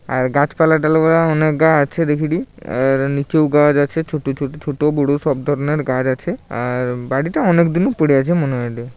আর গাছপালা অনেক গা আছে দেখিটি আর নিচেও গাছ আছে ছোট বড়ো সব ধরণের গাছ আছে আর বাড়িটা অনেকদিন পড়ে আছে মনে হইলো।